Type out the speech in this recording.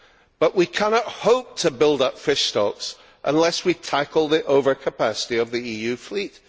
But we cannot hope to build up fish stocks unless we tackle the overcapacity of the EU fleet.